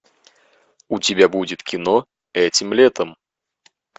у тебя будет кино этим летом